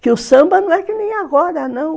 Porque o samba não é que nem agora, não.